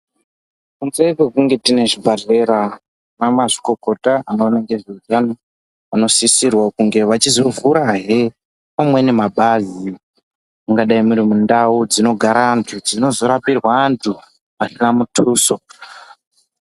Kunze kwekunge tine zvibhedhlera, ana mazvikokota anoona ngezveutano anosisirwa kunge vechízovhurahe amweni mapazi. Mungadai muri mundau dzinogara antu dzinozorapirwa antu asina mutuso.